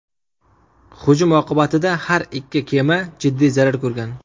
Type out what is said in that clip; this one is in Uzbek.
Hujum oqibatida har ikki kema jiddiy zarar ko‘rgan.